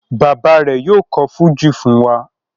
Bàbá rẹ̀ yóò kọ̀ fújì fún wa.